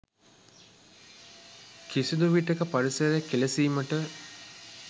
කිසිදු විටෙක පරිසරය කෙලෙසීමට